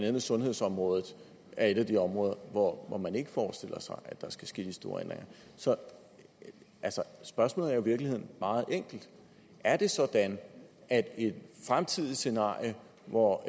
andet sundhedsområdet er et af de områder hvor man ikke forestiller sig at der skal ske de store ændringer så spørgsmålet er jo i virkeligheden meget enkelt er det sådan at et fremtidigt scenarie hvor